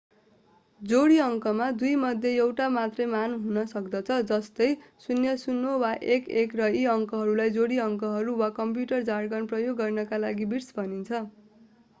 जोडी अङ्कमा दुईमध्ये एउटा मात्रै मान हुन सक्दछ जस्तै 00 वा 11 र यी अङ्कहरूलाई जोडी अङ्कहरू वा कम्प्युटर जार्गन प्रयोग गर्नका लागि बिट्स भनिन्छ